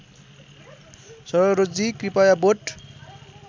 सरोजजी कृपया बोट